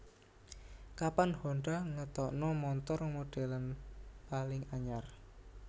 Kapan Honda ngetokno montor modelan paling anyar